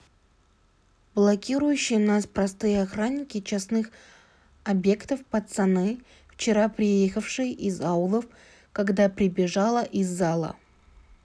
блокирующие нас простые охранники частных объектов пацаны вчера приехавшие из аулов когда прибежала из зала